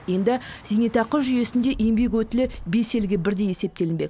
енді зейнетақы жүйесінде еңбек өтілі бес елге бірдей есептелінбек